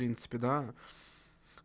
в принципе да